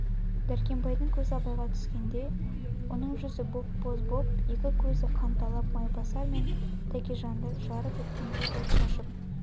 дәркембайдың көз абайға түскенде оның жүзі боп-боз боп екі көзі қанталап майбасар мен тәкежанды жарып өткендей от шашып